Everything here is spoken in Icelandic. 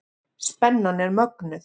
Spennan er mögnuð.